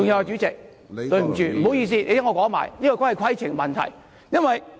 主席，請你聽我把話說完，這也是規程問題。